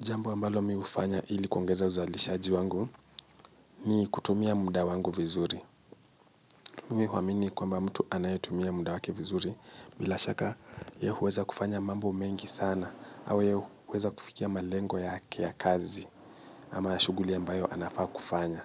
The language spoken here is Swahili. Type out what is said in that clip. Jambo ambalo mimi hufanya ili kuongeza uzalishaji wangu ni kutumia muda wangu vizuri. Mimi huamini kwa mba mtu anayetumia muda wake vizuri bilashaka yeye huweza kufanya mambo mengi sana au yeye huweza kufikia malengo yake ya kazi amaya shughuli ambayo anafaa kufanya.